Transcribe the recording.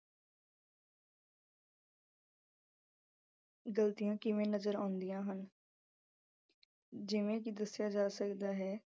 ਗਲਤੀਆਂ ਕਿਵੇਂ ਨਜ਼ਰ ਆਉਂਦੀਆਂ ਹਨ ਜਿਵੇਂ ਕਿ ਦੱਸਿਆ ਜਾ ਸਕਦਾ ਹੈ